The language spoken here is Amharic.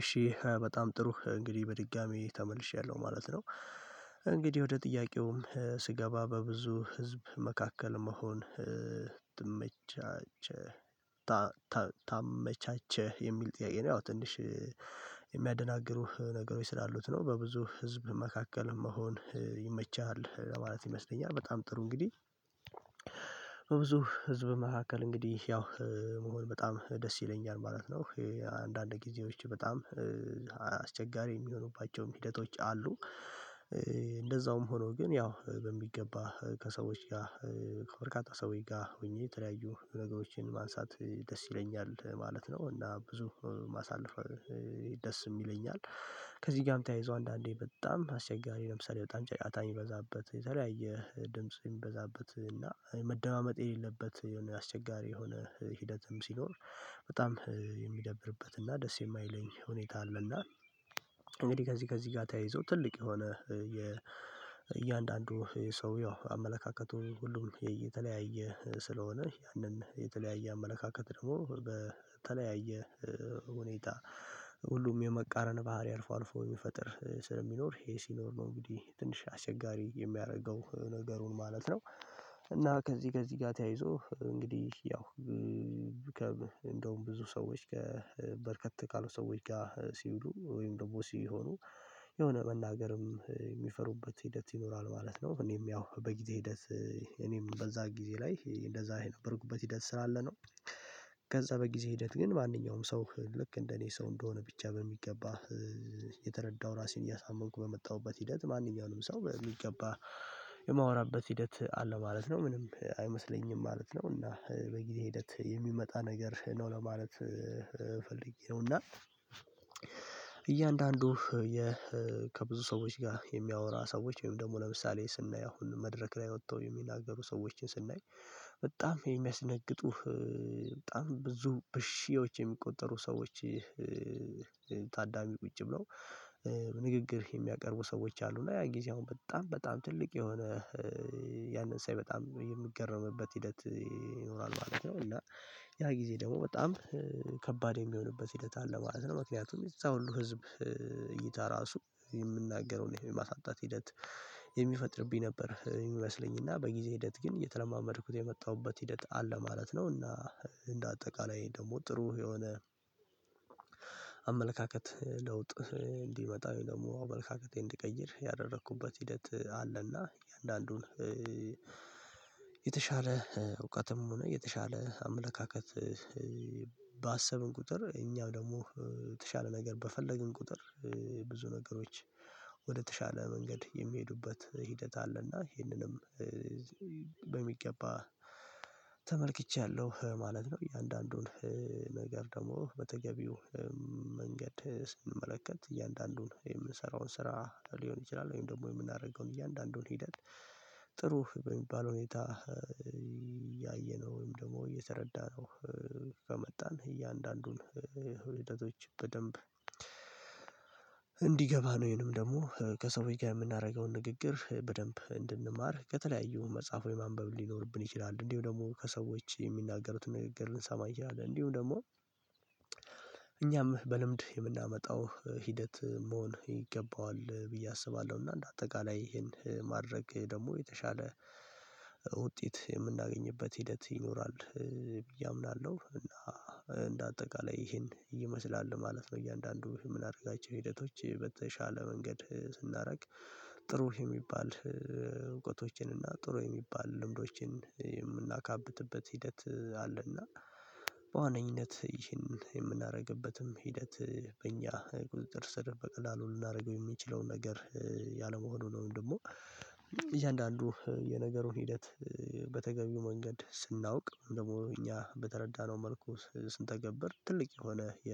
እሺ በጣም ጥሩ እንግዲህ በድጋሚ ተመልሼያለሁ ማለት ነው እንግዲህ ወደ ጥያቄውም ስገባ በብዙ ህዝብ መካከል መሆን ታመቻቸ ታመቻቸህ የሚል ጥያቄ ነው ያው ትንሽ የሚያደናግሩህ ነገሮች ስላሉት ነው በብዙ ህዝብ መካከል መሆን ይመቸሃል ለማለት ይመስለኛል በጣም ጥሩ እንግዲህ ህዝብ መካከል እንግዲህ ያው መሆን በጣም ደስ ይለኛል ማለት ነው፤ አንዳንድ ጊዜዎች በጣም አስቸጋሪ የሚሆኑባቸውም ሂደቶች አሉ፤ እንደዛውም ሆኖ ግን ያው በሚገባ ከሰዎች ጋር ከበርካታ ሰውዬ ጋር ሆኜ የተለያዩ ነገሮችን ማንሳት ደስ ይለኛል ማለት ነው እና ብዙ ማሳለፍ ደስም ይለኛል ነው ከዚህ ጋርም ተያይዞ አንዳንዴ በጣም አስቸጋሪ ለምሳሌ በጣም ጫጫታ የሚበዛበት የተለያየ ድምጽ የሚበዛበት እና መደማመጥ የሌለበት የሆነ አስቸጋሪ የሆነ ሂደትም ሲኖር በጣም የሚደብርበት እና ደስ የማይለኝ ሁኔታ አለና እንግዲህ ከዚህ ከዚህ ጋር ተያይዞ ትልቅ የሆነ የእያንዳንዱ የሰው ያው አመለካከቱ ሁሉም የተለያየ ስለሆነ ያንን የተለያየ አመለካከት ደግሞ በተለያየ ሁኔታ ሁሉም የመቃረን ባህሪ አልፎ አልፎ የሚፈጥር ስለሚኖር ይሄ ሲኖር ነው እንግዲህ ትንሽ አስቸጋሪ የሚያደርገው ነገሩን ማለት ነው እና ከዚህ ከዚህ ጋር ተያይዞ እንግዲህ ያው እንደውም ብዙ ሰዎች ከበርከት ካሉ ሰዎች ጋር ሲውሉ ወይም ደግሞ ሲሆኑ የሆነ መናገርም የሚፈሩበት ሂደት ይኖራል ማለት ነው እኔም ያው በጊዜ ሂደት እኔም በዛ ጊዜ ላይ እንደዛ የነበርሁት ሂደትስላለ ነው፤ ከዛ በጊዜ ሂደት ግን ማንኛውም ሰው ልክ እንደኔ ሰው እንደሆነ ብቻ በሚገባ የተረዳው ራሴን እያሳመንኩ በመጣሁበት ሂደት ማንኛውንም ሰው በሚገባ የማወራበት ሂደት አለ ማለት ነው ምንም አይመስለኝም ማለት ነው እና በጊዜ ሂደት የሚመጣ ነገር ነው ለማለት ፈልጌ ነው እና እያንዳንዱ ከብዙ ሰዎች ጋር የሚያወራ ሰዎች ወይም ደግሞ ለምሳሌ ስናይ አሁን መድረክ ላይ ወጥተው የሚናገሩ ሰዎችን ስናይ በጣም የሚያስደነግጡህ በጣም ብዙ በሺዎች የሚቆጠሩ ሰዎች ታዳሚ ቁጭ ብለው በንግግር የሚያቀርቡ ሰዎች አሉ እና ያ ጊዜ አሁን በጣም በጣም ትልቅ የሆነ ያንን ሳይ በጣም የምገረምበት ሂደት ይኖራል ማለት ነው እና ያ ጊዜ ደግሞ በጣም ከባድ የሚሆንበት ሂደት አለ ማለት ነው ምክንያቱም እዛ ሁሉ ህዝብ እይታ ራሱ የምናገረውን የማሳጣት ሂደት የሚፈጥርብኝ ነበር የሚመስለኝና በጊዜ ሂደት ግን የተለማመድኩት የመጣሁበት ሂደት አለ ማለት ነውና እንደ አጠቃላይ ደግሞ ጥሩ የሆነ አመለካከት ለውጥ እንዲመጣ ደግሞ አመለካከቴን እንድቀይር ያደረኩበት ሂደት አለና እያንዳንዱን የተሻለ እውቀትም ሆነ የተሻለ አመለካከት ባሰብን ቁጥር እኛም ደግሞ የተሻለ ነገር በፈለግን ቁጥር ብዙ ነገሮች ወደ ተሻለ መንገድ የሚሄዱበት ሂደት አለና ይሄንንም በሚገባ ተመልክቻለሁ ማለት ነው እያንዳንዱን ነገር ደግሞ በተገቢው መንገድ ስንመለከት እያንዳንዱን የምንሰራውን ስራ ሊሆን ይችላል ወይም ደግሞ የምናደርገውን እያንዳንዱን ሂደት ጥሩ በሚባል ሁኔታ ያየነው ወይም ደግሞ የተረዳነው ከመጣን እያንዳንዱን ህይወቶች በደንብ እንዲገባን ወይንም ደግሞዎች ጋር የምናደርገውን ንግግር በደንብ እንድንማር ከተለያዩ መጽሐፎች ማንበብ ሊኖርብን ይችላል እንዲሁ ደግሞ ከሰዎች የሚናገሩትን ንግግር ልንሰማ እንችላለን እንዲሁ ደግሞ እኛም በልምድ የምናመጣው ሂደት መሆን ይገባዋል ብዬ አስባለሁ እና እንደ አጠቃላይ ይሄን ማድረግ ደግሞ የተሻለ ውጤት የምናገኝበት ሂደት ይኖራል ብዬ አምናለሁ እና እንደ አጠቃላይ ይሄን ይመስላል ማለት ነው እያንዳንዱ የምናደርጋቸው ሂደቶች በተሻለ መንገድ ስናደርግ ጥሩ የሚባል እውቀቶችን እና ጥሩ የሚባል ልምዶችን የምናካብትበት ሂደት አለና በዋነኝነት ይህንን የምናደርግበትም ሂደት በእኛ ቁጥጥር ስር በቀላሉ ልናደርገው የሚችለው ነገር ያለመሆኑ ነው ደግሞ እያንዳንዱ የነገሩን ሂደት በተገቢው መንገድ ስናውቅ ደግሞ እኛ በተረዳነው መልኩ ስንተገብር ትልቅ የሆነ የ